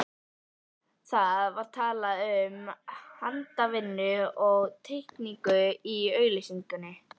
Það var talað um handavinnu og teikningu í auglýsingunni.